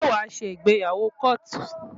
Ṣé wàá ṣe ìgbéyàwó kóòtù?